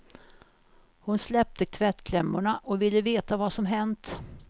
Hon släppte tvättklämmorna och ville veta vad som hänt.